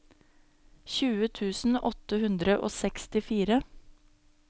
tjue tusen åtte hundre og sekstifire